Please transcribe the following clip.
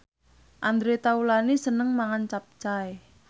Andre Taulany seneng mangan capcay